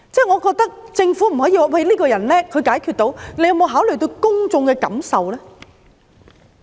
我覺得政府不可以只說這個人能幹，能夠解決問題，它有否考慮過公眾的感受呢？